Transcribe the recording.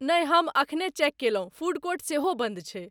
नहि, हम एखने चेक कयलहुँ, फूड कोर्ट सेहो बन्द छै।